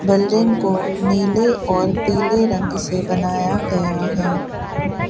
Building को नीले और पीले रंग से बनाया गया है।